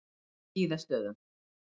Skíðastöðum